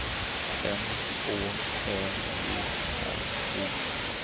M Å L E R I